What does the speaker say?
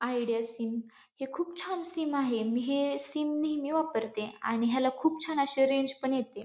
Idea sim हे खुप छान सीम आहे. मी हे सीम नेहमी वापरते आणि ह्याला खुप छान अशी रेंज पण येते.